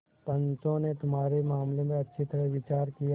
पंचों ने तुम्हारे मामले पर अच्छी तरह विचार किया